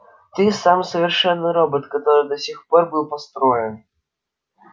ты самый совершенный робот который до сих пор был построен